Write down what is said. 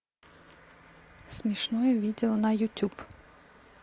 смешное видео на ютуб